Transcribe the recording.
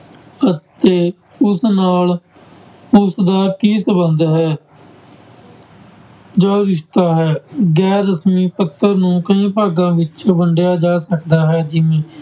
ਅਤੇ ਉਸ ਨਾਲ ਉਸਦਾ ਕੀ ਸੰਬੰਧ ਹੈ ਜਾਂ ਰਿਸਤਾ ਹੈ, ਗੈਰ ਰਸ਼ਮੀ ਪੱਤਰ ਨੂੰ ਕਈ ਭਾਗਾਂ ਵਿੱਚ ਵੰਡਿਆ ਜਾ ਸਕਦਾ ਹੈ ਜਿਵੇਂ